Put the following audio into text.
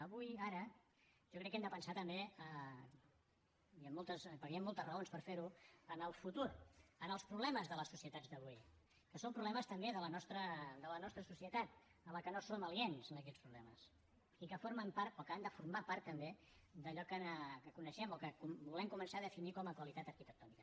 avui ara jo crec que hem de pensar també perquè hi han moltes raons per fer ho en el futur en els problemes de les societats d’avui que són problemes també de la nostra societat que no som aliens a aquests problemes i que formen part o que han de formar part també d’allò que coneixem o que volem començar a definir com a qualitat arquitectònica